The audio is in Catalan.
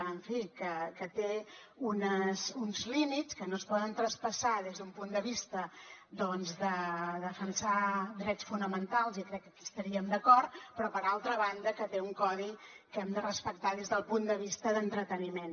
en fi que té uns límits que no es poden traspassar des d’un punt de vista de defensar drets fonamentals i crec que aquí hi estaríem d’acord però per altra banda que té un codi que hem de respectar des del punt de vista d’entreteniment